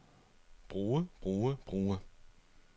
bruge bruge bruge